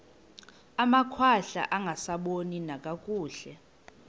amakhwahla angasaboni nakakuhle